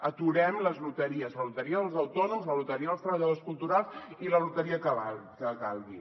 aturem les loteries la loteria dels autònoms la loteria dels treballadors culturals i la loteria que calgui